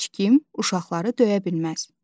Heç kim uşaqları döyə bilməz.